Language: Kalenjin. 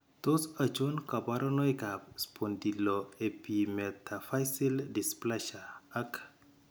Tos achon kabarunaik ab Spondyloepimetaphyseal dysplasia ak